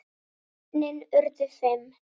Börnin urðu fimm.